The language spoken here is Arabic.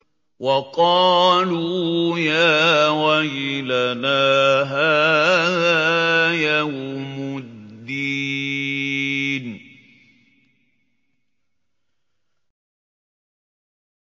وَقَالُوا يَا وَيْلَنَا هَٰذَا يَوْمُ الدِّينِ